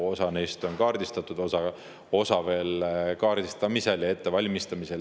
Osa neist on kaardistatud, osa veel kaardistamisel ja ettevalmistamisel.